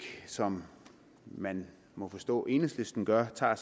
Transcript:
som man må forstå enhedslisten gør tager